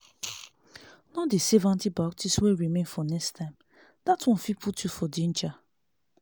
no dey save antibiotics wey remain for next time that one fit put you for danger.